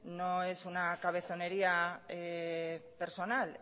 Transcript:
no es una cabezonería personal